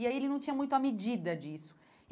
E aí ele não tinha muito a medida disso.